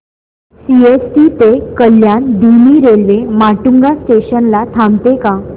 CST ते कल्याण धीमी railway Matunga station ला थांबते का